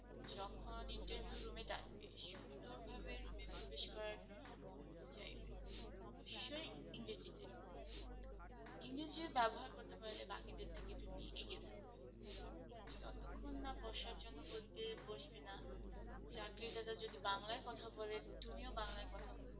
ইংরেজির ব্যবহার করতে পারলে তুমি বাকিদের থেকে এগিয়ে থাকবে যতক্ষণ না বসার জন্য বলবে বসবে না চাকরিদাতা যদি বাংলায় কথা বলে তুমি বাংলায় কথা বলবে।